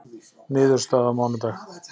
Niðurstaða á mánudag